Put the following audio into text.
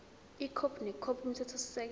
ikhophi nekhophi yomthethosisekelo